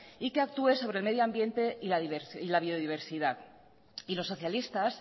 y que actúe sobre el medio ambiente y la biodiversidad y los socialistas